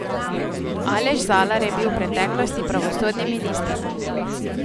Aleš Zalar je bil v preteklosti pravosodni minister.